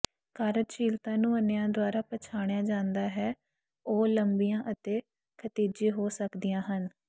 ਕਾਰਜਸ਼ੀਲਤਾ ਨੂੰ ਅੰਨ੍ਹਿਆਂ ਦੁਆਰਾ ਪਛਾਣਿਆ ਜਾਂਦਾ ਹੈ ਉਹ ਲੰਬੀਆਂ ਅਤੇ ਖਿਤਿਜੀ ਹੋ ਸਕਦੀਆਂ ਹਨ